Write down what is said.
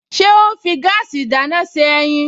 Ṣé ó ń fi gáàsì ìdáná ṣe ẹyin?